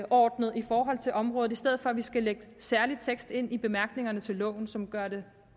overordnet i forhold til området i stedet for at vi skal lægge en særlig tekst ind i bemærkningerne til loven som gør det